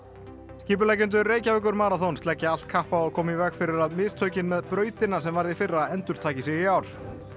skipuleggjendur Reykjavíkurmaraþons leggja allt kapp á að koma í veg fyrir að mistökin með brautina sem urðu í fyrra endurtaki sig í ár